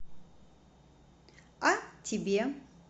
а тебе